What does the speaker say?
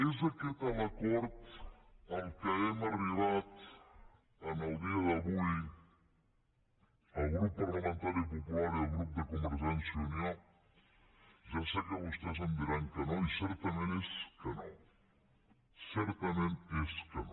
és aquest l’acord a què hem arribat en el dia d’avui el grup parlamentari popular i el grup de convergència i unió ja sé que vostès em diran que no i certament és que no certament és que no